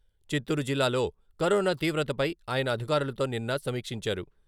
చిత్తూరు జిల్లాలో కరోనా తీవ్రతపై ఆయన అధికారులతో నిన్న సమీక్షించారు.